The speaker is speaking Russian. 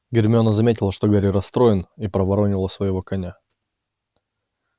гермиона заметила что гарри расстроен и проворонила своего коня